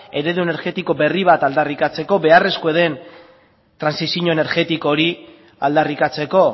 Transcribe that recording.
eredu energetiko berri bat aldarrikatzeko beharrezkoa den trantsizio energetiko hori aldarrikatzeko